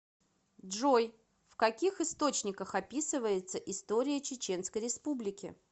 джой в каких источниках описывается история чеченской республики